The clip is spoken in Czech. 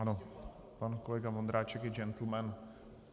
Ano, pan kolega Vondráček je gentleman.